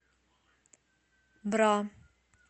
бра